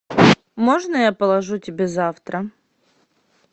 можно я положу тебе завтра